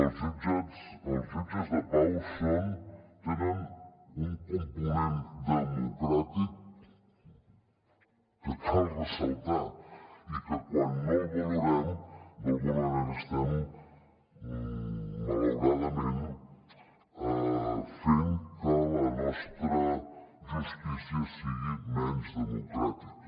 els jutges de pau tenen un component democràtic que cal ressaltar i que quan no el valorem d’alguna manera estem malauradament fent que la nostra justícia sigui menys democràtica